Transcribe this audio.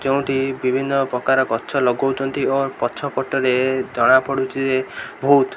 ଯେଉଁଠି ବିଭିନ୍ନ ପ୍ରକାର ଗଛ ଲଗଉଚନ୍ତି ଓ ପଛ ପଟ ରେ ଜଣା ପଡ଼ୁଚି ଯେ ବହୁତ।